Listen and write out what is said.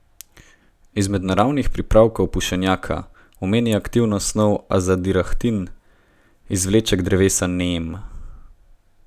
Izmed naravnih pripravkov Pušenjakova omeni aktivno snov azadirahtin, izvleček drevesa neem.